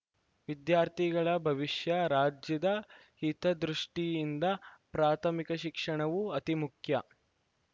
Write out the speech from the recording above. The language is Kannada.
ವಿದ್ಯಾರ್ಥಿಗಳ ಭವಿಷ್ಯ ರಾಜ್ಯದ ಹಿತದೃಷ್ಟಿಯಿಂದ ಪ್ರಾಥಮಿಕ ಶಿಕ್ಷಣವು ಅತೀ ಮುಖ್ಯ